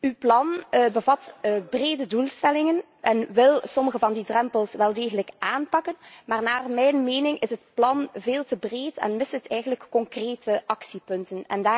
Uw plan bevat brede doelstellingen en wil sommige van die drempels wel degelijk aanpakken, maar naar mijn mening is het plan veel te breed en mist het concrete actiepunten.